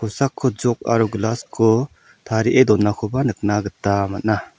jok aro glass-ko tarie donakoba nikna gita man·a.